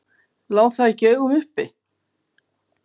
Lá það ekki í augum uppi?